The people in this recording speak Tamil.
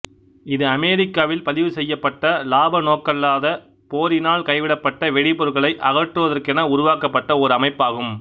இது அமெரிக்காவில் பதிவுசெய்யப்பட்ட இலாப நோக்கல்லாத போரினால் கைவிடப்பட்ட வெடிபொருட்களை அகற்றுவதற்கென உருவாக்கப்பட்ட ஓர் அமைப்பாகும்